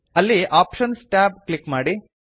ಅಲ್ಲಿ options tab click ಮಾಡಿ